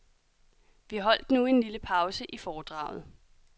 Vi holdt nu en lille pause i foredraget.